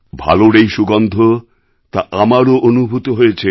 ভালোর এই সুগন্ধ তা আমারও অনুভূত হয়েছে